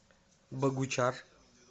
богучар